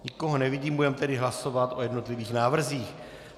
Nikoho nevidím, budeme tedy hlasovat o jednotlivých návrzích.